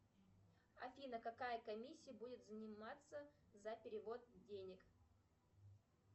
афина какая комиссия будет взиматься за перевод денег